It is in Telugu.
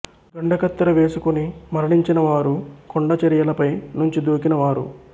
గండ కత్తెర వేసుకుని మరణించిన వారు కొండ చరియలపై నుంచి దూకిన వారు